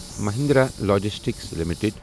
Mahindra logistics limited